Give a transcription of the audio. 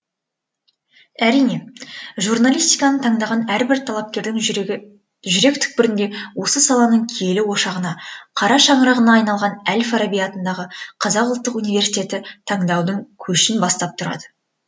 әрине журналистиканы таңдаған әрбір талапкердің жүрек түкпірінде осы саланың киелі ошағына қара шаңырағына айналған әл фараби атындағы қазақ ұлттық университеті таңдаудың көшін бастап тұрады